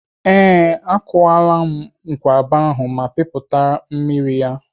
Ee, ọ kwụọla nkwụaba ahụ ma pịpụtara m mmiri ya.